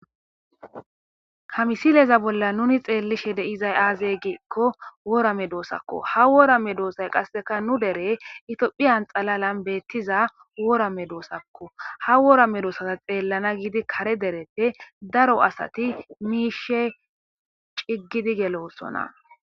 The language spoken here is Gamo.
Hamisileza bolla nuni xeellishe deizay aazey giikko wora medoosakko ha woramme doossay qasseka nu dere itphiyan xalalan beettiza worame doosakko ha woora medoosata xeellana giidi kare dereppe daro asati miishe ciggidi gelossona.